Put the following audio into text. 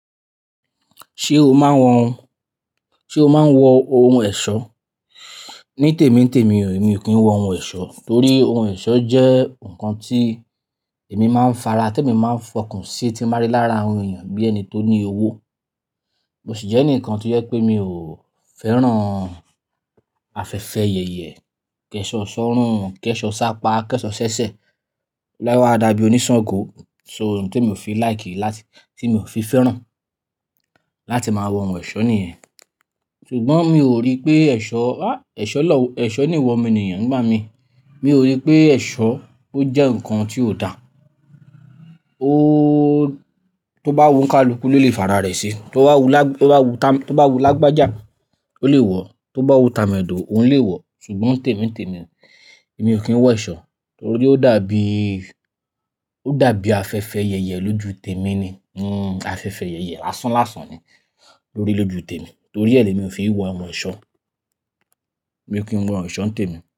Ṣé o máa ń wọ ohun, ṣe o máa ń wọ ohun ẹ̀ṣọ́? Ní tèmi tèmi, èmi ò kí ń wọ ohun ẹ̀ṣọ́ torí ohun ẹ̀ṣọ́ jẹ́ nǹkan tí èmi máa ń fara, tí èmi máa ń f'ọkan sí, tí máa rí lára àwọn èèyàn bí ẹni tó ní owó. Mo sì jẹ́ ẹni kan tí jẹ pé mi ò fẹ́ràn afẹ́fẹ́ yẹyẹ, kẹ́ṣọ̀ọ́ sọ́rún, kẹ́ṣọ̀ọ́ sápá, kẹ́ṣọ̀ọ́ sẹ́sẹ́. Ọ̀luwa re a dàbí oníṣàngó. So òun ti emi ò fi like láti, tí mi ò fi fẹ́ràn láti máa wọ ohun ẹ̀ṣọ́ nìyẹn. Ṣùgbọ́n mi ò rí pé ẹ̀ṣọ́, ah, ẹ̀ṣọ́ lọ́, ẹ̀ṣọ́ ní ìwọ mo ènìyàn nigbá mi. Mi ò rí pé ẹ̀ṣọ́ ó jẹ́ ǹkan tí ó da. Ó un tó bá wù ońkáluku ló lè fara rẹ̀ se. Tó bá wù lá, tó bá wù ta, tó bá wù lágbájá ó lè wọ̀. Tó bá wù tamẹ̀dọ̀ òun lè wọ̀. Ṣùgbọ́n ntèmi ntèmi o, mi ò kí ń wọ ẹ̀ṣọ́ torí ó dàbí, ó dàbí afẹ́fẹ́ yẹyẹ lójú tèmi ni. Hmm afẹ́fẹ́ yẹyẹ lásán lásàn ni lórí lójú tèmi. Torí ẹ́ lé mi ò fi wọ awon ẹ̀ṣọ́. Èmi ò kí ń wọ oso ǹté mi.